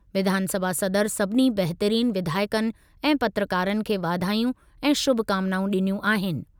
विधानसभा सदर सभिनी बहितरीन विधायकनि ऐं पत्रकारनि खे वाधायूं ऐं शुभकामनाऊं ॾिनियूं आहिनि।